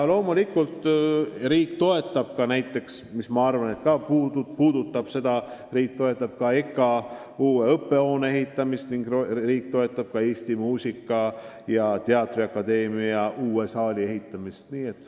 Riik toetab ka EKA uue õppehoone ehitamist ning Eesti Muusika- ja Teatriakadeemia uue saali ehitamist.